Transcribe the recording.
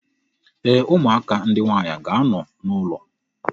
Ee, ụmụaka ndị nwaanyị ga-anọ n'ụlọ.